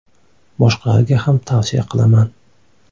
Boshqalarga ham tavsiya qilaman.